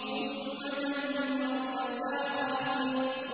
ثُمَّ دَمَّرْنَا الْآخَرِينَ